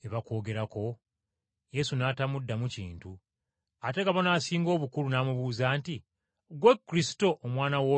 Yesu n’atamuddamu kintu. Ate Kabona Asinga Obukulu n’amubuuza nti, “Ggwe Kristo, Omwana w’oyo atenderezebwa?”